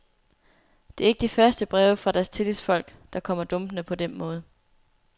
Det er ikke de første breve fra deres tillidsfolk, der kommer dumpende på den måde.